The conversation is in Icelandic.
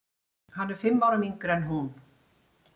Hann er fimm árum yngri en hún.